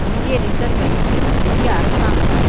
இந்திய ரிசர்வ் வங்கியும் இந்திய அரசாங்கமும்